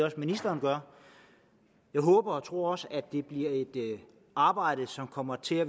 at ministeren gør jeg håber og tror også at det bliver et arbejde som kommer til at